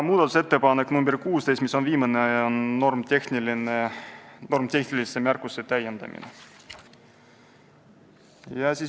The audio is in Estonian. Viimane ehk 16. muudatusettepanek on normitehnilise märkuse täiendamise kohta.